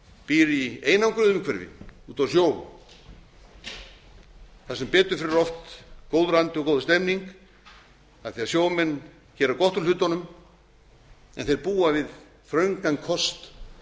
býr í einangruðu umhverfi út á sjó þar sem betur fer er oft góður andi og góð stemmning af því sjómenn gera gott úr hlutunum en þeir búa við þröngan kost